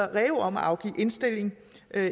reu om at afgive indstilling